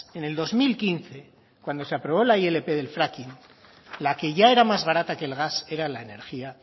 en el dos mil quince cuando se aprobó la ilp del fracking la que ya era más barata que el gas era la energía